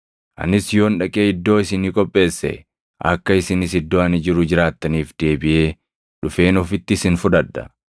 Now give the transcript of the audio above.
Anis yoon dhaqee iddoo isinii qopheesse, akka isinis iddoo ani jiru jiraattaniif deebiʼee dhufeen ofitti isin fudhadha.